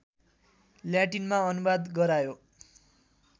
ल्याटिनमा अनुवाद गरायो